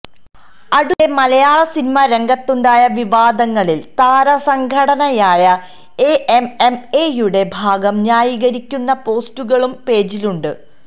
അടുത്തിടെ മലയാള സിനിമാ രംഗത്തുണ്ടായ വിവാദങ്ങളില് താര സംഘടനയായ എഎംഎംഎയുടെ ഭാഗം ന്യായീകരിക്കുന്ന പോസ്റ്റുകളും പേജിലുണ്ട്